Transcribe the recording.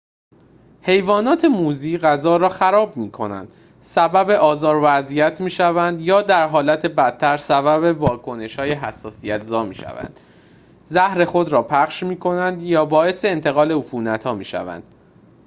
حیوانات موذی غذا را خراب می‌کنند سبب آزار و اذیت می‌شوند یا در حالت بدتر سبب واکنش‌های حساسیت‌زا می‌شوند زهر خود را پخش می‌کنند یا باعث انتقال عفونت‌ها می‌شوند